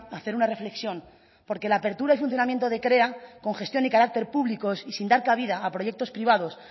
a hacer una reflexión porque la apertura y funcionamiento de krea con gestión y carácter públicos y sin dar cabida a proyectos privados